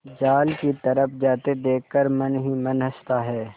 जाल की तरफ जाते देख कर मन ही मन हँसता है